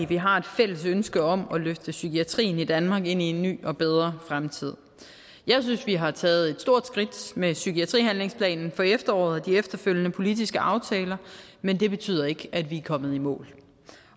vi har et fælles ønske om at løfte psykiatrien i danmark ind i en ny og bedre fremtid jeg synes vi har taget et stort skridt med psykiatrihandlingsplanen for efteråret og de efterfølgende politiske aftaler men det betyder ikke at vi er kommet i mål